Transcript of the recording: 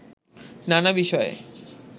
নানা বিষয়ে